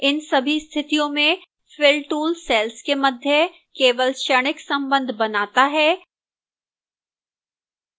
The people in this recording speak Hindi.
इन सभी स्थितियों में fill tool cells के मध्य केवल क्षणिक संबंध बनाता है